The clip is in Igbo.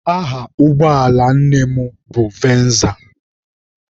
Aha ụgbọala nne m nụ venza.